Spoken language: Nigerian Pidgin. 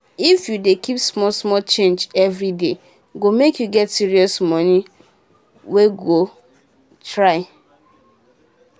if you dey keep small small change every daye go make you get serious money wey go try.